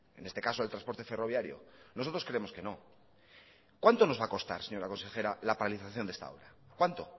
en este caso del transporte ferroviario nosotros creemos que no cuánto nos va a costar señora consejera la paralización de esta obra cuánto